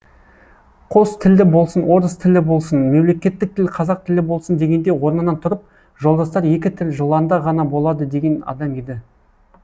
қос тілді болсын орыс тілі болсын мемлекеттік тіл қазақ тілі болсын дегенде орнынан тұрып жолдастар екі тіл жыланда ғана болады деген адам еді